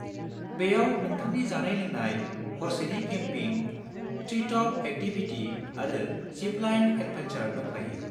बेयाव नोंथांनि जानाय-लोंनाय, हरसेनि केम्पिं, ट्रि-टप एक्टिभिटि आरो जिप-लाइन एडभेनचार् दंफायो।